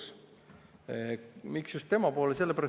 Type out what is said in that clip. Miks pöördun just tema poole?